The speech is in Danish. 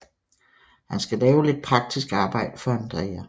Han skal lave lidt praktisk arbejde for Andrea